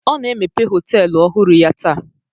Ọ na-emepe họtelu ọhụrụ ya taa.